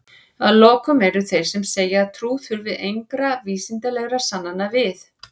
að lokum eru þeir sem segja að trú þurfi engra vísindalegra sannana við